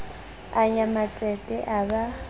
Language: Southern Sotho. a nya matsete a ba